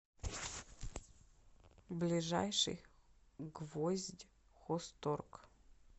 ближайший гвоздьхозторг